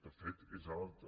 de fet és alta